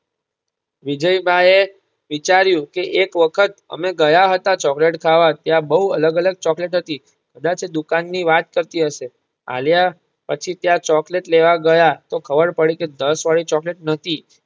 વિજયભાઇ એ વિચાર્યું કે એક વખત અમે ગયા હતા ચોકલેટ ખાવા ત્યાં બહુ અલગ અલગ ચોકલેટ હતી કદાચ એ દુકાન ની વાત કરતી હશે. આલિયા પછી ત્યાં ચોકલેટ લેવા ગયા તો ખબર પડી કે દસ વાળી ચોકલેટ નહતી.